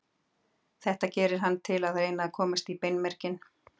Þetta gerir hann til að reyna að komast í beinmerginn.